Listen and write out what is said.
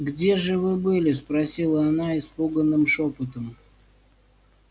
где же вы были спросила она испуганным шёпотом